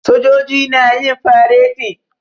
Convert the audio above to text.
Sojoji na yin fareti.